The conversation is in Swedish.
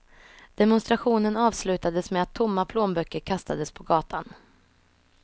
Demonstrationen avslutades med att tomma plånböcker kastades på gatan.